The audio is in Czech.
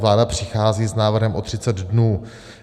Vláda přichází s návrhem o 30 dnů.